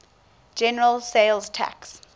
general sales tax